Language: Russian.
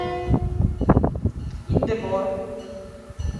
индевор